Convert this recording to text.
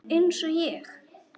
Eins og ég?